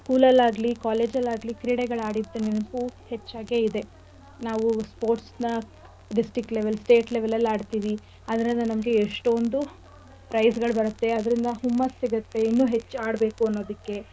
School ಅಲ್ ಆಗ್ಲಿ college ಅಲ್ ಆಗ್ಲಿ ಕ್ರೀಡೆಗಳ್ ಆಡಿದ್ ನೆನಪು ಹೆಚ್ಚಾಗೆ ಇದೇ ನಾವೂ sports ನ district level state level ಅಲ್ ಆಡ್ತಿವಿ ಅದ್ರಿಂದ ನಮ್ಗೆ ಎಷ್ಟೋಂದು prize ಗಳ್ ಬರತ್ತೆ ಅದ್ರಿಂದ ಹುಮ್ಮಸ್ ಸಿಗತ್ತೆ ಇನ್ನಿಷ್ಟು ಆಡ್ಬೇಕು ಅನ್ನೋದಕ್ಕೆ.